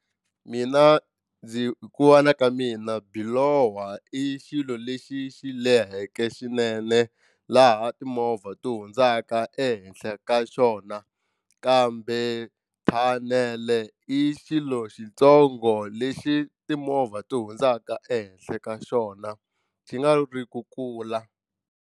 Mina ndzi hi ku vona ka mina biloho i xilo lexi xi leheke swinene laha timovha ti hundzaka ehenhla ka xona kambe thanele i xilo xitsongo lexi timovha ti hundzaka ehenhla ka xona xi nga ri ku kula.